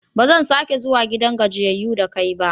Ba zan sake zuwa gidan gajiyayyu da kai ba.